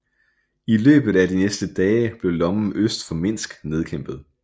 I løbet af de næste dage blev lommen øst for Minsk nedkæmpet